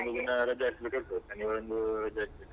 ಎಲ್ಲರಿಗೆ ರಜೆ ಇರತದೇ